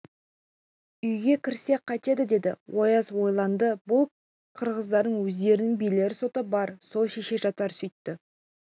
үйге кірсек қайтеді деді ояз ойланды бұл киргиздардың өздерінің билер соты бар сол шеше жатар сөйтті